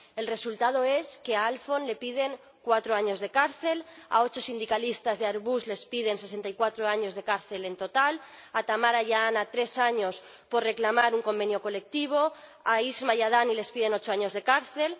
El resultado es que a Alfon le piden cuatro años de cárcel, a ocho sindicalistas de Airbus les piden sesenta y cuatro años de cárcel en total, a Tamara y a Ana, tres años por reclamar un convenio colectivo, a Isma y a Dani les piden ocho años de cárcel